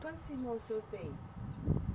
Quantos irmãos o senhor tem?